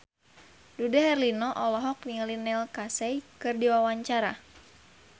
Dude Herlino olohok ningali Neil Casey keur diwawancara